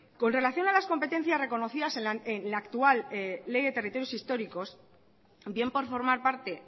con relación a las competencia reconocidas en la actual ley de territorios históricos bien por formar parte